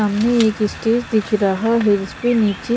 सामने एक स्टेज दिख रहा है जिसपे निचे--